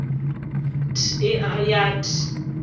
th e a ya th